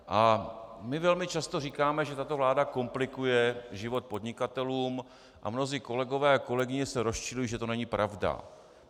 A my velmi často říkáme, že tato vláda komplikuje život podnikatelům, a mnozí kolegové a kolegyně se rozčilují, že to není pravda.